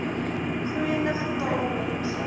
groeiende getal mense